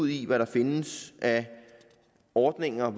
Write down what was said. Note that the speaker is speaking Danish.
i hvad der findes af ordninger